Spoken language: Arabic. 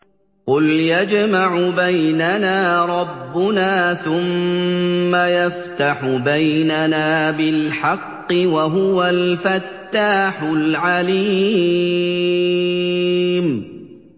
قُلْ يَجْمَعُ بَيْنَنَا رَبُّنَا ثُمَّ يَفْتَحُ بَيْنَنَا بِالْحَقِّ وَهُوَ الْفَتَّاحُ الْعَلِيمُ